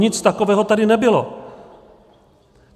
Nic takového tady nebylo.